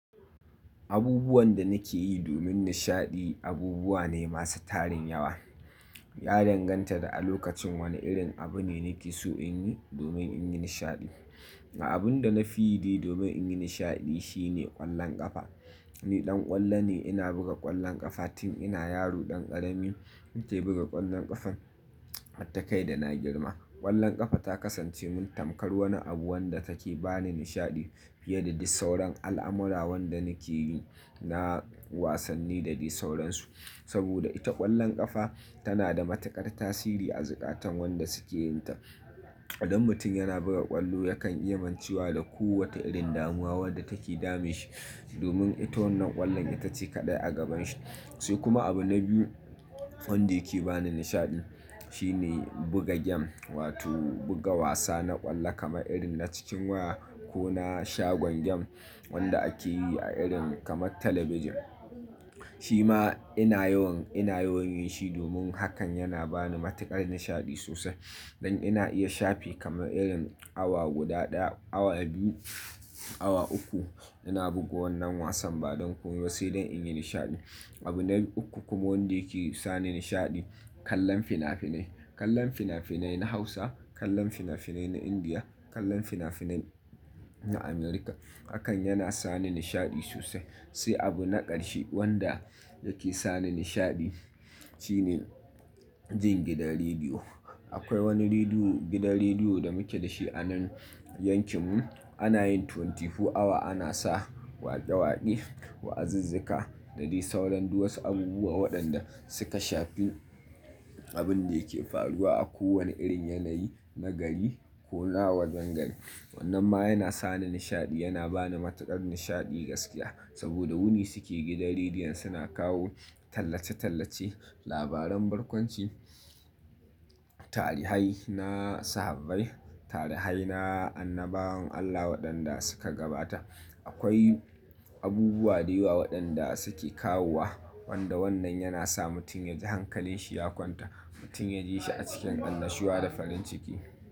Abubuwan da nake yi domin nishaɗi abubuwa ne masu tarin yawa. Ya danganta da a lokacin wane irin abu ne nake so in yi domin in yi nishaɗi. Abun da na fi yi de domin in yi nishaɗi shine ƙwallon ƙafa. Ni ɗan ƙwallo ne, ina buga ƙwallon ƙafa tun ina yaro ɗan ƙarami. Nike buga ƙwallon ƙafan har ta kai da na girma. Ƙwallon ƙafa ta kasance mun tamkar wani abu wanda take ba ni nishaɗi fiye da disauran al'amura wanda nake yi na wasanni da daisauransu. Saboda ita ƙwallon ƙafa tana da matuƙar tasiri a zukatan wanda suke yin ta. Idan mutum yana buga ƙwallo, yakan iya macewa da ko wata irin damuwa wadda take damun shi domin ita wannan ƙwallon ita ce kaɗai a gaban shi. Sai kuma abu na biyu wanda yake ba ni nishaɗi shine buga gem wato buga wasa na ƙwallo kamar irin na cikin waya ko na shagon gem wanda ake yi a irin kamar talabijin. Shi ma ina yawan, ina yawan yin shi domin hakan yana ba ni matuƙar nishaɗi sosai. Dan ina iya shafe kamar irin awa guda ɗaya, awa biyu, awa uku ina buga wannan wasan ba don komai ba sai dan in yi nishaɗi. Abu na uku kuma wanda yake sa ni nishaɗi, kallon fina-finai. Kallon fina-finai na Hausa, kallon fina-finai na Indiya, kallon fina-finai na America. Hakan yana sa ni nishaɗi sosai. Sai abu na ƙarshe wanda yake sa ni nishaɗi shine jin gidan rediyo. Akwai wani rediyo, gidan rediyo da muke da shi a nan yankin mu. Ana yin twenty four awa ana sa waƙe-waƙe, wa'azizzika da de sauran duwasu abubuwa waɗanda suka shafi abun da yake faruwa a kowane irin yanayi na gari ko na wajen gari. Wannan ma yana sa ni nishaɗi, yana ba ni matuƙar nishaɗi gaskiya saboda wuni suke gidan rediyon suna kawo tallace-tallace, labaran barkwanci, tarihai na sahabbai, tarihai na annabawan Allah waɗanda suka gabata. Akwai abubuwa da yawa waɗanda suke kawowa wanda wannan yana sa mutum ya ji hankalin shi ya kwanta, mutum ya ji shi a cikin annashuwa da farin ciki.